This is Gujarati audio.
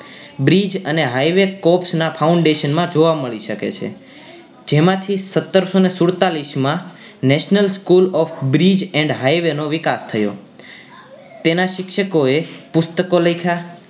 Bridge અને highway ના cost foundation માં જોવા મળી શકે છે જેમાંથી સતરસો ને સુડતાલીસ માં National School off bridge and highway નો વિકાસ થયો તેના શિક્ષકો એ પુસ્તકો લખ્યા